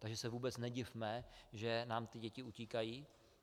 Takže se vůbec nedivme, že nám ty děti utíkají.